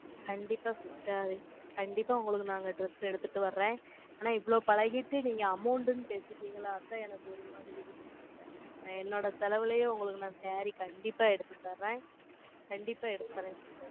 கண்டிப்பா sister கண்டிப்பா உங்களுக்கு நாங்க dress எடுத்திட்டு வர்றேன். ஆனா, இவ்வளவு பழகிட்டு, நீங்க amount ன்னு பேசிட்டீங்களே, அதான் எனக்கு ஒரு மாதிரி இருக்குது sister என்னோட செலவிலேயே, உங்களுக்கு நான் saree, கண்டிப்பா எடுத்து தர்றேன். கண்டிப்பா எடுத்து தர்றேன். sister r